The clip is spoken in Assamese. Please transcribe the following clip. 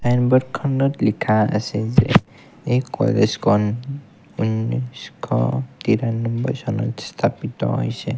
ছাইনবোৰ্ডখনত লিখা আছে যে এই কলেজখন উনৈশ তিৰান্নৱৈ চনত স্থাপিত হৈছে।